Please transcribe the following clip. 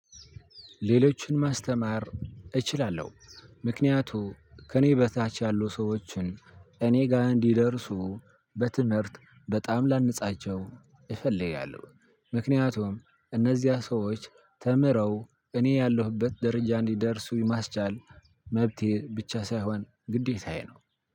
ሌሎችን ማስተማር እችላለሁ ምክንያቱ ከእኔ በታች ያሉ ሰዎችን እኔ ጋር እንዲደርሱ በትምህርት በጣም ላንጻቸው እፈልጋለሁ። ምክንያቱም እነዚያ ሰዎች ተምረው እኔ ያለሁበት ደረጃ እንዲደርሱ የማስቻል መብቴ ብቻ ሳይሆን ግዴታዬ ነው።